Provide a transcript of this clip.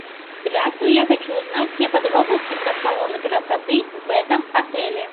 здравствуй я хочу узнать все подробности про салоны красоты в этом отеле